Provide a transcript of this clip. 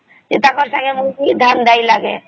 ତାଙ୍କର ସଂଗେ ବଳିକିରୀ ଧାନ ନାଇଁ ଲାଗେ